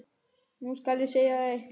Nú skal ég segja þér eitt.